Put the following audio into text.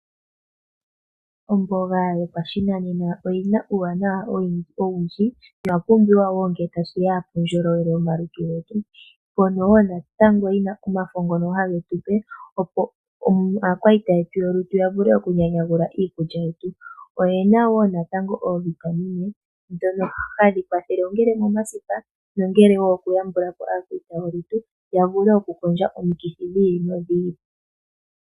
Omboga yopashinanena oyina uuwanawa owundji noya pumbiwa woo ngee tashiya puundjolowele womalutu getu. Oyina omafo hage tupe opo aakwaita yetu yolutu yavule okunyanyagula iikulya yetu. Oyina natango oovitamine dhono hadhi kwathele ngele omasipa nenge aakwaita yolutu ya vule okukondjitha omikithi dhi ili nodhi ili.